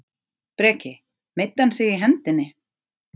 Breki: Meiddi hann sig í hendinni?